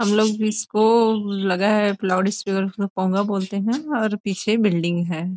हम लोग इसको लगा है लाउड स्पीकर कोंगा बोलते हैं और पीछे बिल्डिंग है।